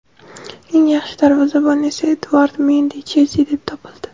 eng yaxshi darvozabon esa Eduard Mendi ("Chelsi") deb topildi.